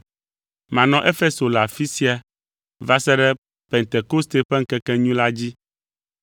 Manɔ Efeso le afi sia va se ɖe Pentekoste ƒe ŋkekenyui la dzi,